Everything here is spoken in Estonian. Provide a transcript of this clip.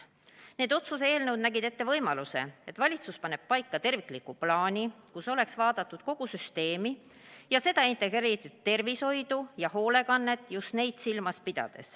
Need otsuse eelnõud nägid ette võimaluse, et valitsus paneb paika tervikliku plaani, kus oleks vaadatud kogu süsteemi, pidades silmas just integreeritud tervishoidu ja hoolekannet.